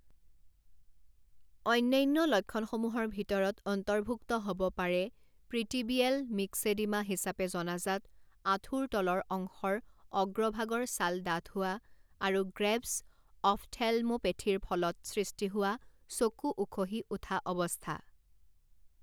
অন্যান্য লক্ষণসমূহৰ ভিতৰত অন্তৰ্ভুক্ত হ'ব পাৰে প্ৰিটিবিয়েল মিক্সেডিমা হিচাপে জনাজাত আঁঠুৰ তলৰ অংশৰ অগ্ৰভাগৰ ছাল ডাঠ হোৱা, আৰু গ্ৰেভ্ছ অফ্থেল্মোপেথীৰ ফলত সৃষ্টি হোৱা চকু উখহি উঠা অৱস্থা।